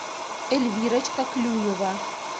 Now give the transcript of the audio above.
эльвирочка клюева